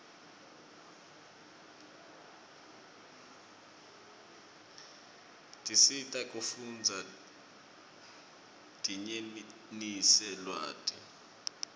tiscsita kufundza dinyenise lwati